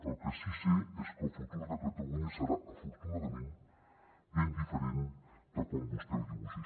el que sí que sé és que el futur de catalunya serà afortunadament ben diferent de com vostè el dibuixa